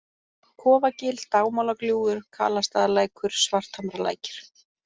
Kofagil, Dagmálagljúfur, Kalastaðalækur, Svarthamralækir